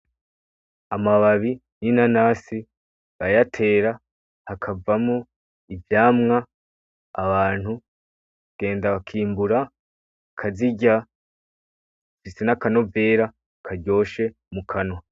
Amababi y’inanasi bayatera, hakavamo ivyamwa abantu bagenda bakimbura bakazirya, bifise n’akanovera karyoshe mu kanwa.